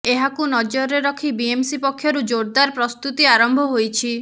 ଏହାକୁ ନଜରରେ ରଖି ବିଏମ୍ସି ପକ୍ଷରୁ ଜୋରଦାର୍ ପ୍ରସ୍ତୁତି ଆରମ୍ଭ ହୋଇଛି